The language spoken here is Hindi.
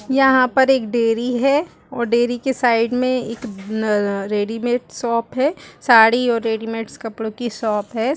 यहां पर एक डेरी है और डेरी के साइड में एक रेडीमेड शॉप है साडी और रेडिमट्स कपड़ों की शॉप है।